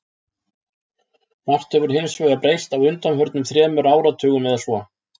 Margt hefur hins vegar breyst á undanförnum þremur áratugum eða svo.